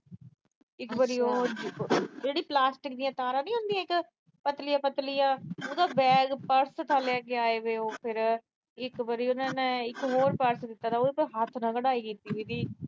ਇਕ ਵਾਰੀ ਉਹ ਜਿਹੜੀਆਂ ਪਲਾਸਟਿਕ ਦੀਆਂ ਤਾਰਾਂ ਨੀ ਹੁੰਦੀਆਂ ਇੱਕ ਪਤਲੀਆਂ-ਪਤਲੀਆਂ, ਉਹਦਾ ਬੈਗ, ਪਰਸ ਲੈ ਕੇ ਆਏ। ਇਕ ਵਾਰੀ ਉਹਨਾਂ ਨੇ ਇਕ ਹੋਰ ਪਰਸ ਦਿੱਤਾ ਥਾ ਉਹ ਨਾ ਹੱਥ ਨਾਲ ਕਢਾਈ ਕੀਤੀ ਹੋਈ ਸੀ।